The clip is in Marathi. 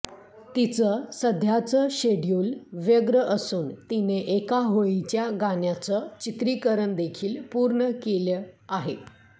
तिचं सध्याचं शेड्युल व्यग्र असून तिने एका होळीच्या गाण्याचं चित्रीकरणदेखील पूर्ण केलं आहे